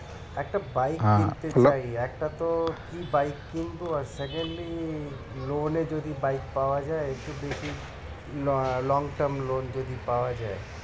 একটা bike কিনতে চাই একটা তো কি bike কিনবো আর secondly loan এ যদি bike পাওয়া যায় একটু লা~ long term loan যদি পাওয়া যায়